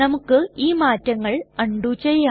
നമുക്ക് ഈ മാറ്റങ്ങൾ അണ്ഡുെ ചെയ്യാം